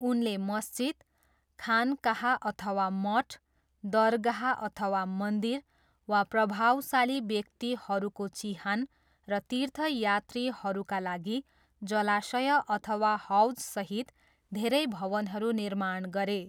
उनले मस्जिद, खानकाह अथवा मठ, दरगाह अथवा मन्दिर वा प्रभावशाली व्यक्तिहरूको चिहान र तीर्थयात्रीहरूका लागि जलाशय अथवा हौजसहित धेरै भवनहरू निर्माण गरे।